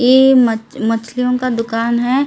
ये मछलियों का दुकान है।